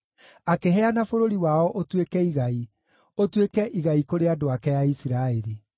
akĩheana bũrũri wao ũtuĩke igai, ũtuĩke igai kũrĩ andũ ake a Isiraeli.